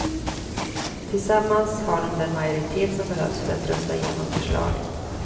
Tillsammans har de den majoritet som behövs för att rösta igenom förslaget.